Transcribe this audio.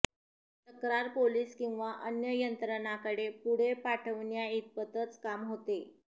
तक्रार पोलिस किंवा अन्य यंत्रणांकडे पुढे पाठवण्याइतपतच काम होते